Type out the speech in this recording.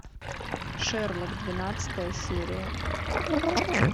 шерлок двенадцатая серия